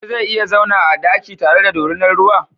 Wani zai iya zauna a daki tare da dorinar ruwa?